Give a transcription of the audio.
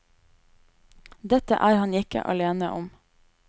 Det er han ikke alene om.